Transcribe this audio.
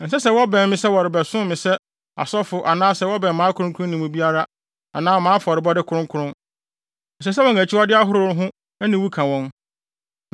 Ɛnsɛ sɛ wɔbɛn me sɛ wɔrebɛsom me sɛ asɔfo anaasɛ wɔbɛn mʼakronkronne mu biara anaa mʼafɔrebɔde kronkron; ɛsɛ sɛ wɔn akyiwade ahorow ho aniwu ka wɔn.